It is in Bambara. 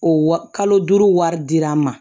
O wa kalo duuru wari dira an ma